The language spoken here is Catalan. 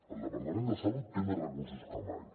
el departament de salut té més recursos que mai